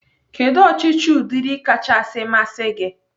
Kedụ ọchịchị ụdịrị kachasị masị gi?